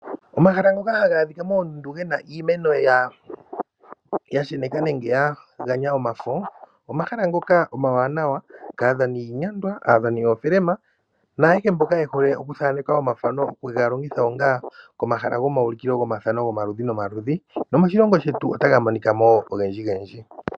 Omahala ngoka haga adhika moondundu ge na iimeno ya sheneka nenge ya ganya komafo. Omahala ngoka omawaanawa kadhani yiinyangwa, yoofilima naayehe mboka ye hole kuthaaneka omathano ye ke ga ulike komahala gomaulikilo gomathano gomaludhi nomaludhi, moshilongo shetu otaga monika mo ogendji.